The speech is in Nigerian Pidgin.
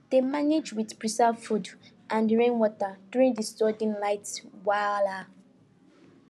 dem manage with preserved food and rainwater during the sudden light wahala